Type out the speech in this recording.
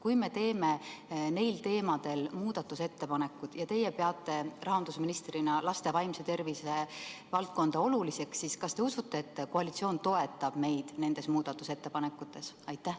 Kui me teeme neil teemadel muudatusettepanekud ja teie peate rahandusministrina laste vaimse tervise valdkonda oluliseks, siis kas te usute, et koalitsioon toetab neid muudatusettepanekuid?